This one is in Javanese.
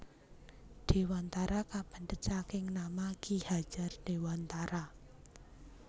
Dewantara kapendhet saking nama Ki Hadjar Dewantara